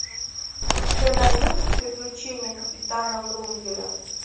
у тебя найдется приключения капитана врунгеля